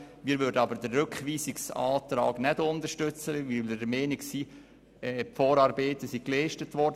Wir werden aber den Rückweisungsantrag nicht unterstützen, weil wir der Meinung sind, dass die Vorarbeiten geleistet wurden.